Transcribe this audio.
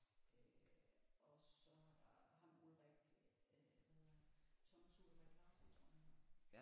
Øh og så er der ham Ulrik øh hvad hedder han Thomas Ulrik Larsen tror jeg han hedder